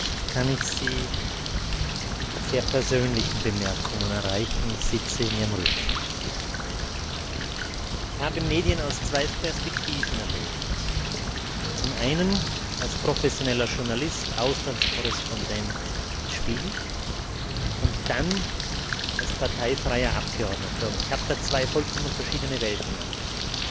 Vielleicht kann ich Sie mit sehr persönlichen Bemerkungen erreichen. Ich habe Medien aus zwei Perspektiven erlebt zum einen als professioneller Journalist, Auslandskorrespondent des Spiegel, und dann als parteifreier Abgeordneter. Und ich habe da zwei vollkommen verschiedene Welten erlebt